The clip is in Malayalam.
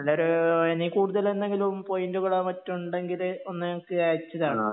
നല്ലൊരു ഇനി കൂടുതല് എന്തെങ്കിലും പോയിന്റുകളോ മറ്റോ ഉണ്ടെങ്കില്ഒന്ന് എനിക്ക് അയച്ചു തരണം